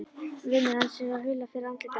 Vinur hans sér að hula fer af andliti hans.